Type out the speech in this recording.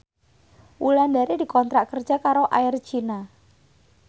Wulandari dikontrak kerja karo Air China